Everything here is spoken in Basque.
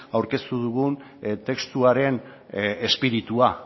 aurkeztu dugun testuaren espiritua